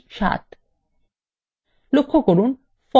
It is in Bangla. এখন enter key টিপুন